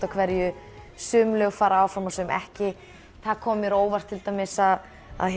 af hverju sum lög fara áfram og sum ekki kom mér á óvart að